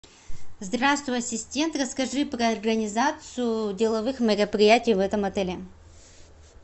здравствуй ассистент расскажи про организацию деловых мероприятий в этом отеле